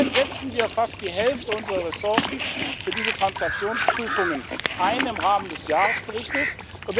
Derzeit setzen wir fast die Hälfte unserer Ressourcen für diese Transaktionsprüfungen im Rahmen des Jahresberichtes ein.